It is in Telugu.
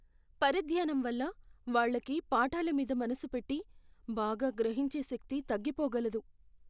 పరధ్యానం వల్ల వాళ్ళకి పాఠాల మీద మనసు పెట్టి, బాగా గ్రహించే శక్తి తగ్గిపోగలదు.